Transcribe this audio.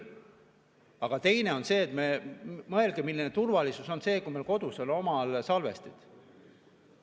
Aga teine on see: mõelge, milline turvalisus see on, kui meil kodus on omal salvestid.